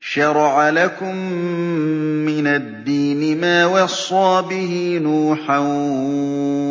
۞ شَرَعَ لَكُم مِّنَ الدِّينِ مَا وَصَّىٰ بِهِ نُوحًا